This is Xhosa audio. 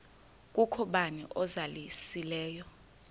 kukho bani uzalusileyo